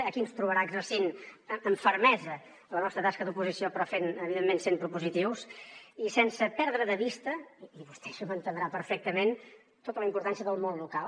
aquí ens trobarà exercint amb fermesa la nostra tasca d’oposició però evidentment sent propositius i sense perdre de vista i vostè això ho entendrà perfectament tota la importància del món local